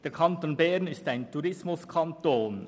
Der Kanton Bern ist ein Tourismuskanton.